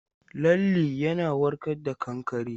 Lalle yana warka da kankare.